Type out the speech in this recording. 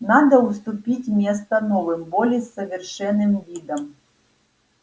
надо уступить место новым более совершенным видам